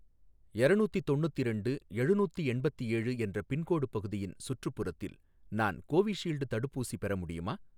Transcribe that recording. எரநூத்தி தொண்ணுத்திரெண்டு எழுநூத்திஎண்பத்தேழு என்ற பின்கோடு பகுதியின் சுற்றுப்புறத்தில் நான் கோவிஷீல்டு தடுப்பூசி பெற முடியுமா?